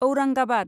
Aurangabad